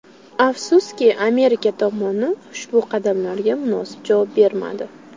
Afsuski, Amerika tomoni ushbu qadamlarga munosib javob bermadi.